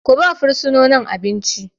Ku ba wa fursononin abinci!